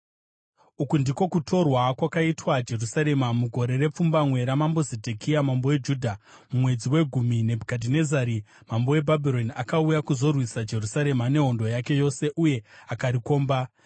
Uku ndiko kutorwa kwakaitwa Jerusarema: Mugore repfumbamwe ramambo Zedhekia mambo weJudha, mumwedzi wegumi, Nebhukadhinezari mambo weBhabhironi akauya kuzorwisa Jerusarema nehondo yake yose uye akarikomba.